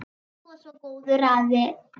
Þú varst svo góður afi.